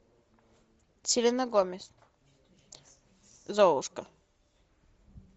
селена гомес золушка